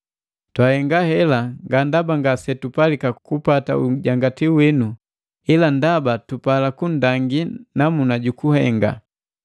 Twahenga hela nga ndaba ngasetupalika kupata ujangatilu winu, ila ndaba tupala kundangii namuna jukuhenga.